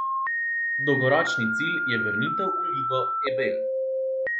Dolgoročni cilj je vrnitev v Ligo Ebel.